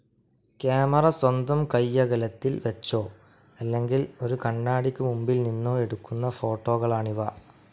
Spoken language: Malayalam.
കാമറ സ്വന്തം കൈയകലത്തിൽ വെച്ചോ, അല്ലെങ്കിൽ ഒരു കണ്ണാടിയ്ക്ക് മുൻപിൽ നിന്നോ എടുക്കുന്ന ഫോട്ടോകളാണിവ.